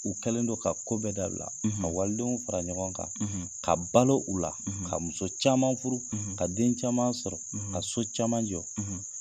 U kɛlen don ka kɔ bɛɛ dabila ka walidenw fara ɲɔgɔn kan ka balo u la ka muso caman furu ka den caman sɔrɔ ka so caman jɔ